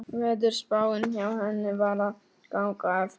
Veðurspáin hjá henni var að ganga eftir.